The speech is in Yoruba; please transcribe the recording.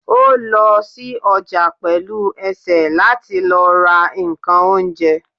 o lo sí ojà pelú esé latí lọ ra nkán oúnjẹ